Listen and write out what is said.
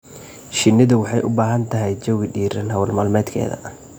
Shinnidu waxay u baahan tahay jawi diiran hawl maalmeedkeeda.